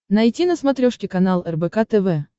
найти на смотрешке канал рбк тв